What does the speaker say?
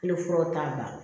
Kelen furaw t'a bali